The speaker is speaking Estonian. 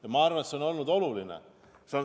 Ja ma arvan, et see on olnud oluline.